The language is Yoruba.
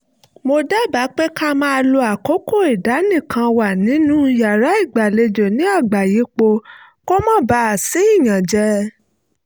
mo dábàá pé ká máa lo àkókò ìdánìkanwà wa nínú yàrá ìgbàlejò ní àgbàyípo kó má baà sí ìyànjẹ